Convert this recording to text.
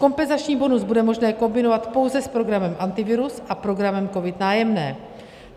Kompenzační bonus bude možné kombinovat pouze s programem Antivirus a programem COVID - Nájemné.